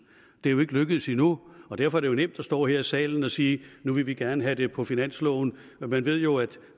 det er jo ikke lykkedes endnu og derfor er det jo nemt at stå her i salen og sige nu vil vi gerne have det på finansloven man ved jo at